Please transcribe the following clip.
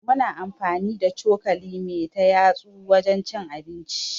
Muna amfani da cokali me ta yatsu wajen cin abinci.